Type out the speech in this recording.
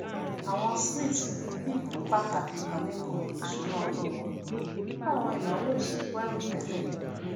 àwọn smiths pín ìpín pàtàkì kan nínú ìṣúná ọdún wọn fún àwọn ináwó ìsìnkú àìròtẹlẹ